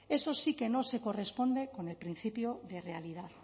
eso sí que no se corresponde con el principio de realidad